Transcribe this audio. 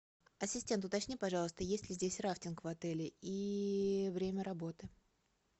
ассистент уточни пожалуйста есть ли здесь рафтинг в отеле и время работы